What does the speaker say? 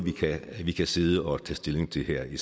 vi kan sidde og tage stilling til her i